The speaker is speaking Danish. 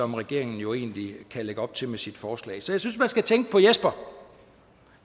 regeringen jo egentlig kan lægge op til med sit forslag så jeg synes man skal tænke på jesper